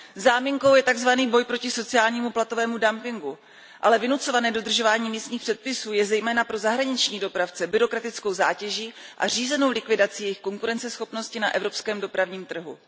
Záminkou je takzvaný boj proti sociálnímu platovému dumpingu, ale vynucované dodržování místních předpisů je zejména pro zahraniční dopravce byrokratickou zátěží a řízenou likvidací jejich konkurenceschopnosti na evropském dopravním trhu.